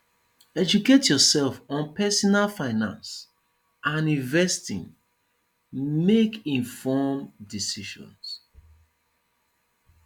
educate yourself on pesinal finance and investing make informed decisions